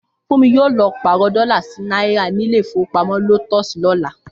Fúnmi yóò lọ pàrọ̀ dọlà sí náírà ní ilé ìfowópamọ́ Lotus lọ́la